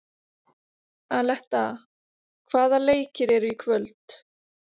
Aletta, hvaða leikir eru í kvöld?